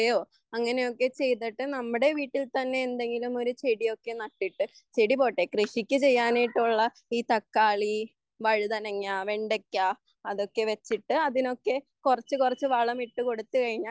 അങ്ങനെയൊക്കെ ചെയ്തിട്ട് നമ്മുടെ വീട്ടിൽതന്നെയെന്തെങ്കിലും ഒരു ചെടിയൊക്കെ നട്ടിട്ട് ചെടി പോട്ടെ കൃഷിക്ക് ചെയ്യാനായിട്ടുള്ള ഈ തക്കാളി വഴുതനങ്ങ വെണ്ടയ്ക്ക അതൊക്കെവെച്ചിട്ട് കുറച്ച് കുറച്ച് വളമിട്ടുകൊടുത്തുകഴിഞ്ഞാൽ